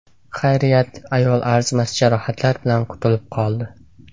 Xayriyat, ayol arzimas jarohatlar bilan qutulib qoldi.